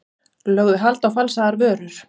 Lögðu hald á falsaðar vörur